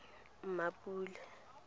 mapula